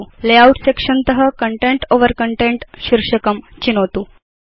layout section त जीटीजीटी content over content शीर्षकं चिनोतु